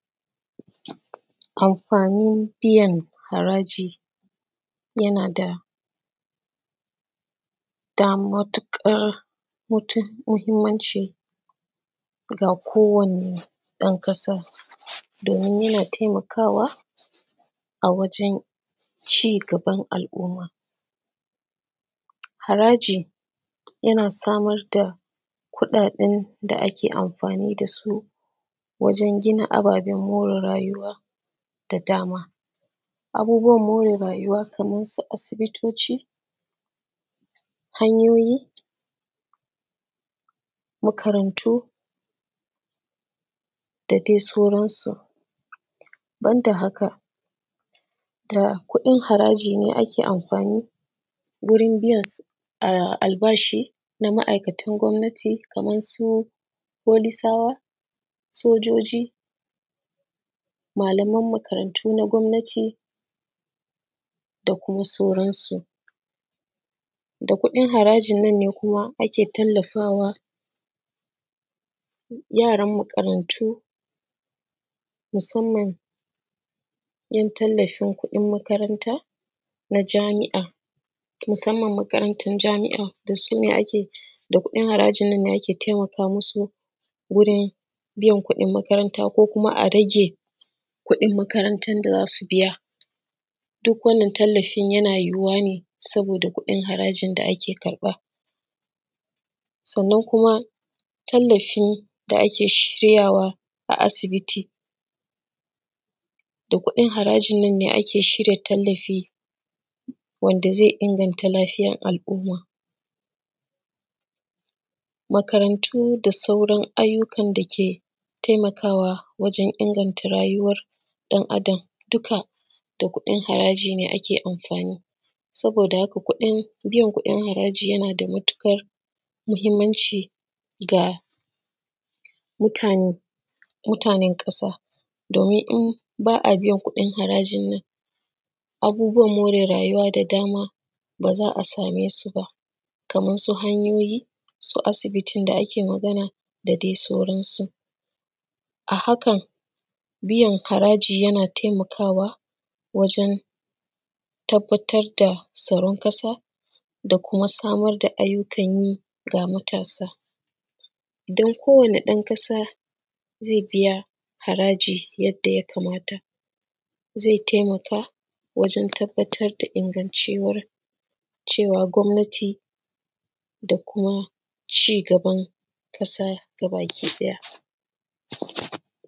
Anfanin biyan haraji yana da matuƙar mahinmanci ga kowane ɗanƙasa domin yana taimakawa a wajen cigaban al’umma. Haraji yana samar da kuɗaɗen da ake anfani da su wajen gina ababen more rayuwa da dama, abubuwan more rayuwa Kaman su: asibitoci, hanyoyi, makarantu da dai sauransu ban da haka da kuɗin haraji ne ake anfani wurin biyan albashi na ma’aikatan gwamnati, Kaman su Folis, sojoji, malaman makarantu na gwamnati da kuma sauransu, da kuɗin harajinnan ne kuma ake iya tallafawa yaran makarantu musanman ‘yan tallafin kuɗin makaranta na jami’a, musanman makaranatan jami’a da kuɗin harajinnan ne ake taimaka musu wurin biyan kuɗin makaranta ko kuma a rage kuɗin makarantan da za su biya duk wannan tallafin yana yuwuwa ne saboda kuɗin harajin da ake ƙarɓa. Sannan kuma tallafin da ake shiryawa a asibiti da kuɗin harajinnan ne ake tallafi wanda zai inganta lafiyan al’umma, makarantu da sauran ayyukan da suke taimakawa wajen inganta rayuwan ɗan’Adam dukka da kuɗin haraji ne ake anfani da shi. Saboda haka biyan kuɗin haraji yana da mahinmanci ga mutanen ƙasa domin in ba a biyan kuɗin harajin nan abubuwan more rayuwa da dama ba za a same su ba Kaman su hanyoyi, su asibitin da ake magana akai da dai sauransu, a hakan biyan haraji yana taimakawa wajen tabbatar da tsaron ƙasa da kuma samar da ayyukan yi ga matasa idan kowane ɗankasa zai biya haraji yadda ya kamata zai taimaka wajen tabbatar da ingancewan gwamnati da kuma cigaban ƙasa gabakiɗaya.